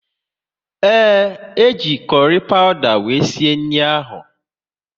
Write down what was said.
Ee, e ji m kurry pawuda wéré sie anụ ahụ